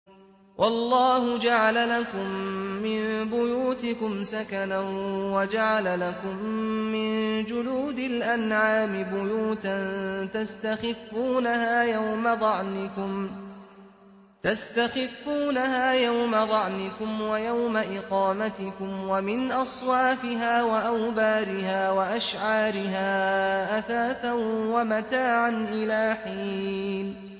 وَاللَّهُ جَعَلَ لَكُم مِّن بُيُوتِكُمْ سَكَنًا وَجَعَلَ لَكُم مِّن جُلُودِ الْأَنْعَامِ بُيُوتًا تَسْتَخِفُّونَهَا يَوْمَ ظَعْنِكُمْ وَيَوْمَ إِقَامَتِكُمْ ۙ وَمِنْ أَصْوَافِهَا وَأَوْبَارِهَا وَأَشْعَارِهَا أَثَاثًا وَمَتَاعًا إِلَىٰ حِينٍ